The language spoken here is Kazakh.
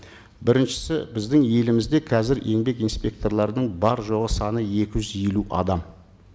біріншісі біздің елімізде қазір еңбек инспекторларының бар жоғы саны екі жүз елу адам